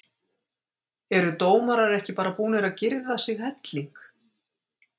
Eru dómarar ekki bara búnir að girða sig helling?